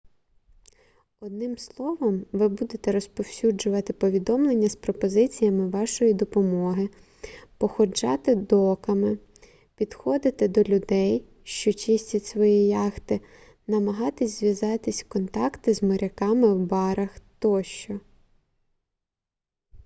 одним словом ви будете розповсюджувати повідомлення з пропозиціями вашої допомоги походжати доками підходити до людей що чистять свої яхти намагатись зав'язати контакти з моряками в барах тощо